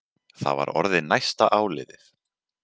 Það var orðið næsta áliðið.